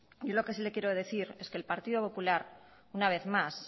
yo lo que sí le quiero decir es que el partido popular una vez más